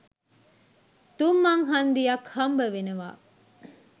තුන් මං හන්දියක් හම්බවෙනවා.